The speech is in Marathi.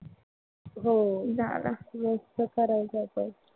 हो झाला. यायचं फार अवघड आहे.